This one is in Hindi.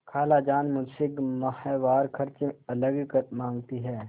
खालाजान मुझसे माहवार खर्च अलग माँगती हैं